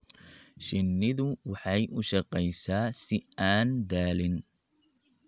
Shinnidu waxay u shaqeysaa si aan daalin.